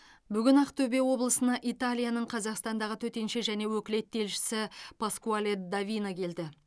бүгін ақтөбе облысына италияның қазақстандағы төтенше және өкілетті елшісі паскуале д авино келді